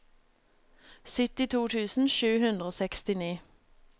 syttito tusen sju hundre og sekstini